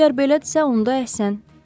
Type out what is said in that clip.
Əgər belədirsə, onda əhsən.